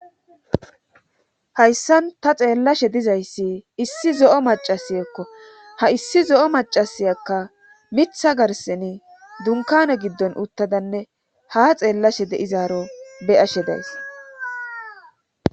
hayssan ta xeellashe dizayssi issi zo7o macasiyekko ha issi zo7o macasayakka mitha garseni dunkane giddon uttadanne ha xeellashe deizaaro beyashe days